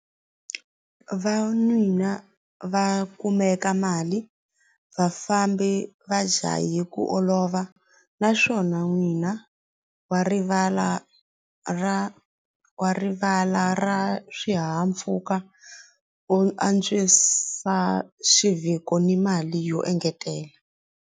va kumeka mali vafambi va jahe ku olova naswona n'wina wa rivala ra wa rivala ra swihahampfuka u antswisa xivhiko ni mali yo engetela.